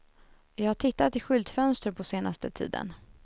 Jag har tittat i skyltfönster på senaste tiden.